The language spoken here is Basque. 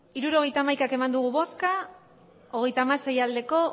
hirurogeita hamaika eman dugu bozka hogeita hamasei bai